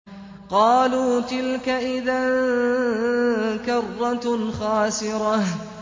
قَالُوا تِلْكَ إِذًا كَرَّةٌ خَاسِرَةٌ